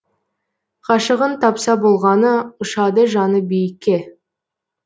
ғашығын тапса болғаны ұшады жаны биікке